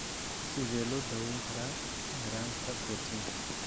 Sidee loo daweyn karaa yaraanta borotiinka?